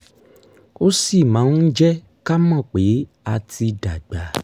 ó sì máa ń jẹ́ ká mọ̀ pé a ti dàgbà